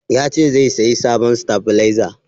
Ya ce zai sayi sabon stabalaiza.